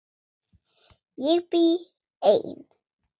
Ég bý ein.